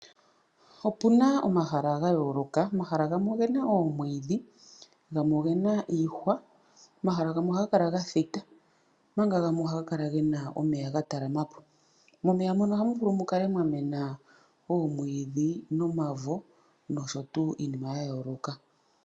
Opu na omahala ga yooloka. Omahala gamwe oge na omwiidhi, gamwe oge na iihwa. Omahala gamwe ohaga kala ga thita, omanga gamwe ohaga kala ge na omeya ga talama po. Momeya mono ohamu vulu mu kale mwa mwena omwiidhi nomavo nosho tuu iimina ya yooloka.